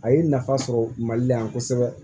A ye nafa sɔrɔ mali la yan kosɛbɛ